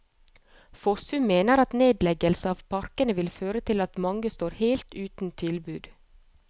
Fossum mener at nedleggelse av parkene vil føre til at mange står helt uten tilbud.